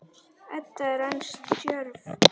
Edda er enn stjörf.